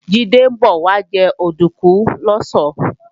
Jídé ń bọ̀ wá jẹ òdùnkún lọ̀sán